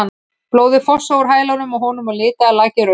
Blóðið fossaði úr hælnum á honum og litaði lakið rautt.